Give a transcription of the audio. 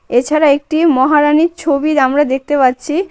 এছাড়া একটি মহারাণীর ছবি আমরা দেখতে পাচ্ছি।